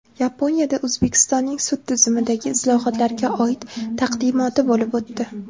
Yaponiyada O‘zbekistonning sud tizimidagi islohotlarga oid taqdimoti bo‘lib o‘tdi.